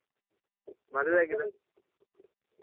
ಮದ್ವೆ ಆಗಿದ?